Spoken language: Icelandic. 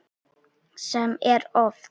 Sem er oft.